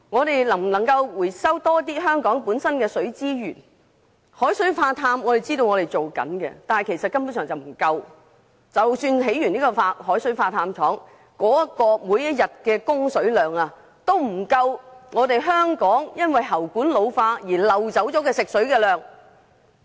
據我們所知，當局一直有進行海水化淡工作，但這根本並不足夠，即使完成興建海水化淡廠，每天的供水量也不足以彌補因喉管老化而漏掉的食水量。